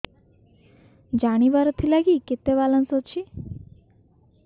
ଜାଣିବାର ଥିଲା କି କେତେ ବାଲାନ୍ସ ଅଛି